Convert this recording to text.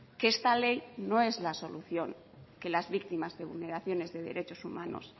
que esta ley no es la solución que las víctimas de vulneraciones de derechos humanos